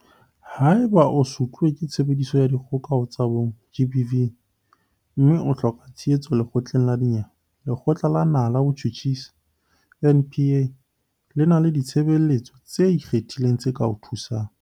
Haeba o sutluwe ke Tshebediso ya Dikgoka ho tsa Bong, GBV, mme o hloka tshehetso lekgotleng la dinyewe, Lekgotla la Naha la Botjhutjhisi, NPA, le na le ditshebeletso tse ikgethileng tse ka o thusang.